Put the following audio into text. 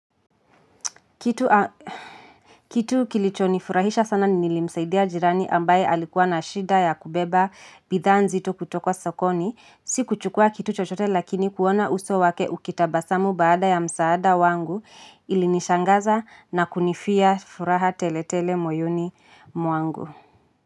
Kitu kilicho nifurahisha sana nilimsaidia jirani ambaye alikuwa na shida ya kubeba bidhaa n zito kutoka sokoni. Siku chukua kitu chochote lakini kuona uso wake ukitabasamu baada ya msaada wangu ilinishangaza na kunifia furaha tele tele moyoni mwangu.